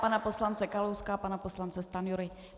Pana poslance Kalouska a pana poslance Stanjury.